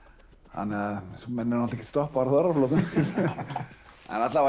þannig að menn eru nú ekkert stoppaðir á þorrablótum eða alla vega